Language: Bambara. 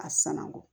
A sanango